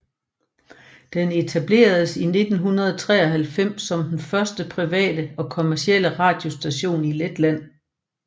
Den etableredes i 1993 som den første private og kommercielle radiostation i Letland